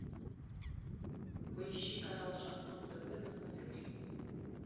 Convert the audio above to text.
поищи канал шансон тв на смотрешке